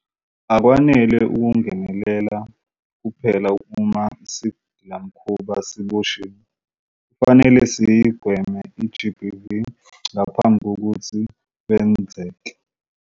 Akwanele ukungenelela kuphela uma isigilamkhuba sesiboshiwe. Kufanele siyigweme i-GBV ngaphambi kokuthi lwenzeke.